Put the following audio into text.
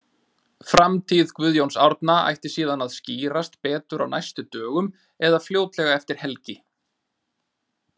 Framtíð Guðjóns Árna ætti síðan að skýrast betur á næstu dögum eða fljótlega eftir helgi.